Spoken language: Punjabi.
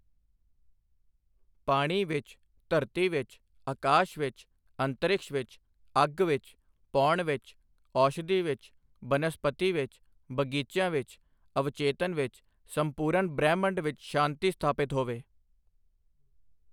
ਪਾਣੀ ਵਿੱਚ, ਧਰਤੀ ਵਿੱਚ, ਆਕਾਸ਼ ਵਿੱਚ, ਅੰਤਰਿਕਸ਼ ਵਿੱਚ, ਅੱਗ ਵਿੱਚ, ਪੌਣ ਵਿੱਚ, ਔਸ਼ਧੀ ਵਿੱਚ, ਬਨਸਪਤੀ ਵਿੱਚ, ਬਗੀਚਿਆਂ ਵਿੱਚ ਅਵਚੇਤਨ ਵਿੱਚ, ਸੰਪੂਰਨ ਬ੍ਰਹਿਮੰਡ ਵਿੱਚ ਸ਼ਾਂਤੀ ਸਥਾਪਿਤ ਹੋਵੇ।